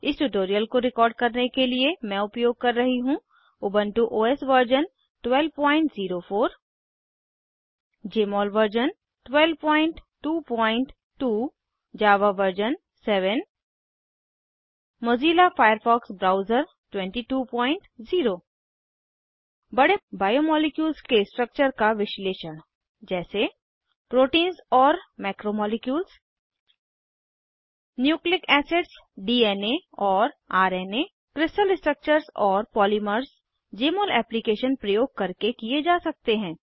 इस ट्यूटोरियल को रिकॉर्ड करने के लिए मैं उपयोग कर रही हूँ Ubuntu OS version 1204 Jmol version 1222 Java version 7 Mozilla Firefox browser 220 बड़े बायोमॉलिक्यूल्स के स्ट्रक्चर का विश्लेषण जैसे प्रोटीन्स और मैक्रोमॉलिक्यूल्स न्यूक्लिक एसिड्स डीएन और रना क्रिस्टल स्ट्रक्चर्स और पॉलीमर्स जमोल एप्लीकेशन प्रयोग करके किये जा सकते हैं